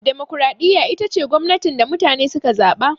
Dimokuraɗiyya ita ce gwamnatin da mutane suka zaɓa